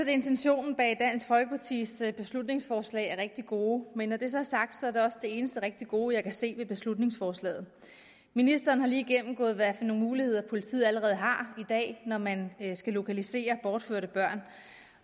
intentionerne bag dansk folkepartis beslutningsforslag er rigtig gode men når det så er sagt er det også det eneste rigtig gode jeg kan se ved beslutningsforslaget ministeren har lige gennemgået hvad for nogle muligheder politiet allerede har i dag når man skal lokalisere bortførte børn